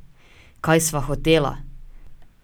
Kaj sva hotela?